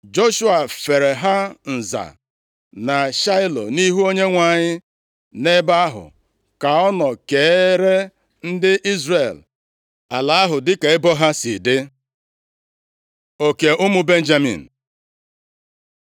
Joshua feere ha nza na Shaịlo nʼihu Onyenwe anyị, nʼebe ahụ ka ọ nọ keere ndị Izrel ala ahụ dịka ebo ha si dị. Oke ụmụ Benjamin